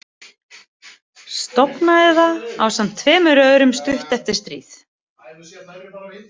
Stofnaði það ásamt tveimur öðrum stuttu eftir stríð.